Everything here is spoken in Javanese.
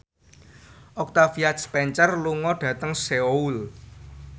Octavia Spencer lunga dhateng Seoul